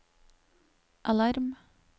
alarm